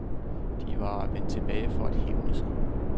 De var vendt tilbage for at hævne sig.